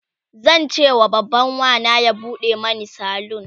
zancewa babban Wana ya buɗe Mani salon